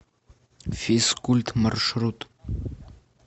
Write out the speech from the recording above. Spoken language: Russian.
физкульт маршрут